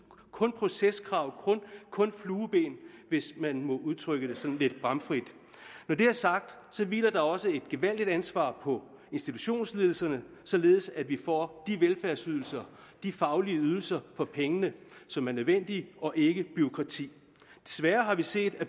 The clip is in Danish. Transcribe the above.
kun proceskrav kun flueben hvis man må udtrykke det sådan lidt bramfrit når det er sagt hviler der også et gevaldigt ansvar på institutionsledelserne således at vi får de velfærdsydelser de faglige ydelser for pengene som er nødvendige og ikke bureaukrati desværre har vi set at